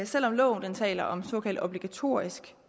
selv om loven taler om såkaldt obligatorisk